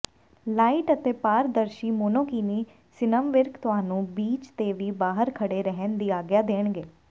light ਅਤੇ ਪਾਰਦਰਸ਼ੀ monokini ਸਿਨਮਵਿਰਕ ਤੁਹਾਨੂੰ ਬੀਚ ਤੇ ਵੀ ਬਾਹਰ ਖੜੇ ਰਹਿਣ ਦੀ ਆਗਿਆ ਦੇਂਣਗੇ